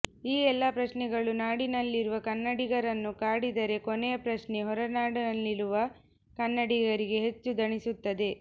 ಈ ಎಲ್ಲಾ ಪ್ರಶ್ನೆಗಳು ನಾಡಿನಲ್ಲಿರುವ ಕನ್ನಡಿಗರನ್ನು ಕಾಡಿದರೆ ಕೊನೆಯ ಪ್ರಶ್ನೆ ಹೊರನಾಡಿನಲ್ಲಿರುವ ಕನ್ನಡಿಗರಿಗೆ ಹೆಚ್ಚು ದಣಿಸುತ್ತದೆ